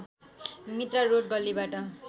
Mitra road गल्लीबाट